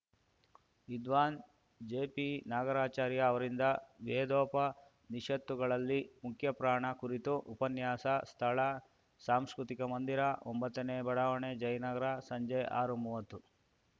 ವಿದ್ವಾನ್‌ ಜೆಪಿ ನಾಗರಾಚಾರ್ಯ ಅವರಿಂದ ವೇದೋಪನಿಷತ್ತುಗಳಲ್ಲಿ ಮುಖ್ಯಪ್ರಾಣ ಕುರಿತು ಉಪನ್ಯಾಸ ಸ್ಥಳ ಸಾಂಸ್ಕೃತಿಕ ಮಂದಿರ ಒಂಬತ್ತನೇ ಬಡಾವಣೆ ಜಯನಗರ ಸಂಜೆ ಆರುಮೂವತ್ತು